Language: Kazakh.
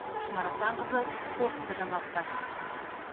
шынар асанқызы қорытынды жаңалықтар